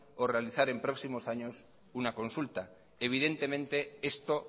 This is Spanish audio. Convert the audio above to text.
o realizar en propios años una consulta evidentemente esto